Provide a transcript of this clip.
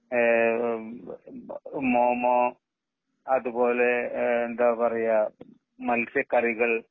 ഏ മോ മോ അതുപോലെ എന്താ പറയുക മത്സ്യ കറികൾ